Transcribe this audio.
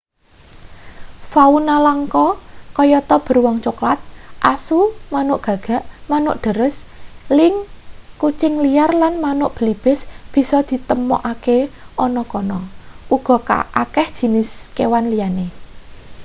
fauna langka kayata beruang coklat asu manuk gagak manuk dares lynx kucing liar lan manuk belibis bisa ditemokake ana kono uga akeh jinis kewan liyane